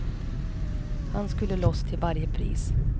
Han skulle loss till varje pris.